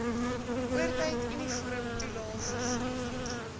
oortyd uniformtoelae vervoer